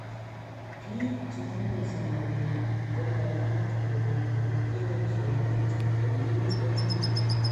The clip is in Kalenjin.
Biik che ramei samakinik komakat koribegee usonet komii EL Nino